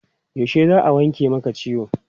Yaushe za a wanke maka ciwon?